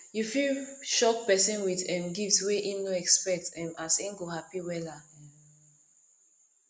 yu fit shock pesin wit um gift wey em no expect um as em go hapi wella um